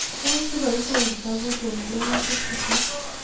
Tos ibaishe kitabut eng' tiemutik chutok